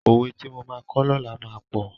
Òwe tí mo máa kọ́ lọ́làá máa pọ̀.